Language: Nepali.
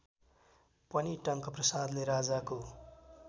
पनि टंकप्रसादले राजाको